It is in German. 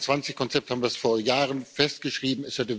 Im K21 Konzept haben wir es vor Jahren festgeschrieben.